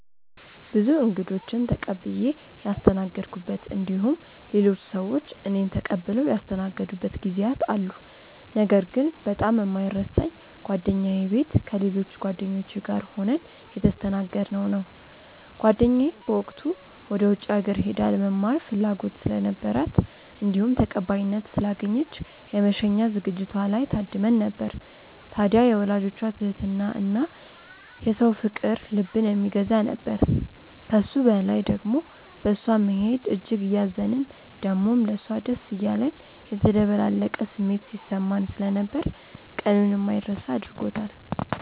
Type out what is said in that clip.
ብዙ እንግዶችን ተቀብዬ ያስተናገድኩበት እንዲሁም ሌሎች ሰዎች እኔን ተቀብለው ያስተናገዱበት ጊዜያት አሉ። ነገር ግን በጣም የማይረሳኝ ጓደኛዬ ቤት ከሌሎች ጓደኞቼ ጋር ሆነን የተስተናገድነው ነው። ጓደኛዬ በወቅቱ ወደ ውጪ ሀገር ሄዳ ለመማር ፍላጎት ስለነበራት እንዲሁም ተቀባይነት ስላገኘች የመሸኛ ዝግጅቷ ላይ ታድመን ነበር። ታድያ የወላጆቿ ትህትና እና የሰው ፍቅር ልብን የሚገዛ ነበር። ከሱ በላይ ደሞ በእሷ መሄድ እጅግ እያዘንን ደሞም ለሷ ደስ እያለን የተደበላለቀ ስሜት ሲሰማን ስለነበር ቀኑን የማይረሳ አድርጎታል።